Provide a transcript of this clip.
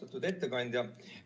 Austatud ettekandja!